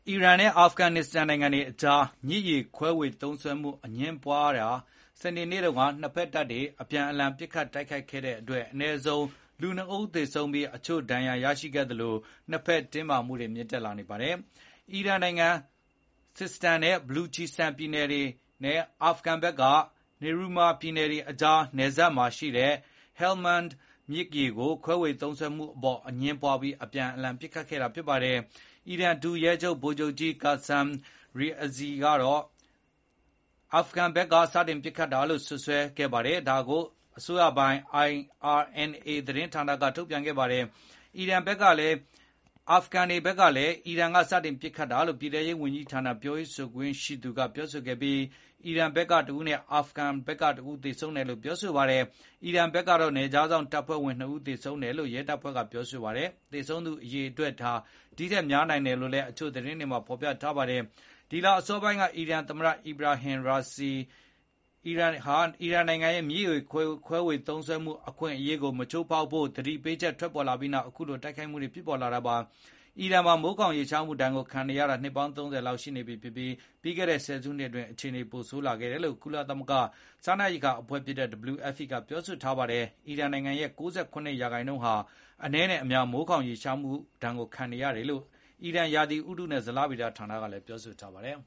အီရန်နဲ့ အာဖဂန်နစ္စတန်နိုင်ငံတွေအကြား မြစ်ရေခွဲဝေသုံးစွဲမှုအငြင်းပွားရာကနေ စနေနေ့တုန်းက နှစ်ဘက်တပ်တွေ ပစ်ခတ်တိုက်ခိုက်ခဲ့တဲ့အတွက်အနည်းဆုံး လူနှစ်ဦးသေဆုံးပြီး၊ အချို့ဒဏ်ရာရရှိခဲ့သလို နှစ်ဘက်တင်းမာမှုတွေ မြင့်တက် လာနေပါတယ်။ အီရန်နိုင်ငံ စစ်စတန်နဲ့ ဘလူချီစတန် ပြည်နယ်တွေနဲ့ အာဖဂန်ဘက်က နီမရု Nimorz ပြည်နယ်တွေအကြား နှစ်နိုင်ငံ နယ်စပ်မှာရှိတဲ့ ဟဲလ်မန်းဒ် Helmand မြစ်ရေခွဲဝေသုံးစွဲမှုအပေါ်အငြင်းပွားပြီးအပြန်အလှန်ပစ်ခတ်ခဲ့တာပါ။ အီရန် ဒုရဲချုပ် ဗိုလ်ချုပ်ကြီး Qassem Rezaei ကတော့ အာဖဂန်ဘက်ကစတင်ပစ်ခတ်တာလို့ အီရန်အစိုးရပိုင် IRNA ကိုပြောဆိုခဲ့ပါတယ်။ တာလီဘန်တွေဘက်ကလည်း အီရန်ကအရင်စပစ်တာလို့ ပြည်ထဲရေးဝန်ကြီးဌာနပြောရေးဆိုခွင့် ရှိသူ Abdul Nafi Takor ကပြောဆိုခဲ့ပြီး၊ အီရန်ဘက်ကတဦးနဲ့ အာဖဂန်ဘက်ကတဦး သေဆုံးတယ်လို့ပြောဆိုပါတယ်။ အီရန်ဘက်ကတော့ နယ်ခြားစောင့်တပ်ဖွဲ့ဝင်နှစ်ဦးသေဆုံးခဲ့တယ်လို့ ရဲတပ်ဖွဲ့ပြောဆိုပါတယ်။ သေဆုံးသူအရေအတွက် ဟာဒိထက်များနိုင်တယ်လို့လည်း အချို့သတင်းတွေမှာဖေါ်ပြပါတယ်။ ဒီလအစောပိုင်းက အီရန် သမတ အီဗရာဟင် ရာစီက Ebrahim Raisi ၊ အီရန်နိုင်ငံရဲ့ မြစ်ရေသုံးစွဲခွင့် အခွင့်အရေးကို မချိုးဖေါက်ဖို့ သတိပေးချက်ထွက်ပေါ်ခဲ့ပြီးနောက် အခုလိုတိုက်ခိုက်မှုတွေဖြစ်ပေါ်လာတာပါ။ အီရန်နိုင်ငံမှာ မိုးခေါင်ရေရှားမှုဒါဏ်ကိုခံနေရာတာနှစ်ပေါင်း ၃၀ လောက်ရှိနေပြီဖြစ်ပြီး၊ ပြီးခဲ့တဲ့ ဆယ်စုနှစ်အတွင်းအခြေ အနေတွေပိုဆိုးလာခဲ့တယ်လို့ ကုလသမဂ္ဂစားနပ်ရိက္ခာအဖွဲ့ WFP ကပြောဆိုထားပါတယ်။ အီရန်နိုင်ငံရဲ့ ၉၇ ရာခိုင်နှုန်း ဟာအနည်းနဲ့အများ မိုးခေါင်ရေရှားမှုဒဏ်ကိုခံနေရတယ်လို့ အီရန် ရာသီဥတုနဲ့ဇလဗေဒဌာနက ပြောဆိုထားပါတယ်